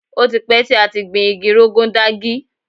Ó ti pẹ́ tí a ti gbin igi Rogon Daji.